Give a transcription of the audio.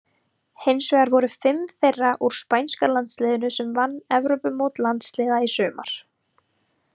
Hinsvegar voru fimm þeirra úr spænska landsliðinu sem vann Evrópumót landsliða í sumar.